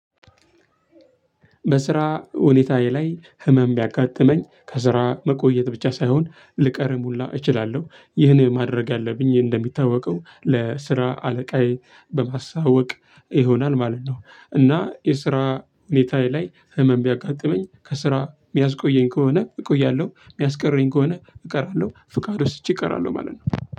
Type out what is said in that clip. በስራ ሁኔታዬ ላይ ህመም ቢያጋጥመኝ ከስራ መቆየት ብቻ ሳይሆን ልቀርም ሁላ እችላለሁ ይህን ማድረግ ያለብኝ እንደሚታወቀው ለስራ አለቃዬ በማሳወቅ ይሆናል ማለት ነው። እና የስራ ሁኔታየ ላይ ህመም ቢያጋጥመኝ ከስራ የሚያስቆየኝ ከሆነ እቆያለሁ የሚያስቀረኝ ከሆነ እቀራለሁ ፍቃድ ወስጄ እቀራለሁ ማለት ነው።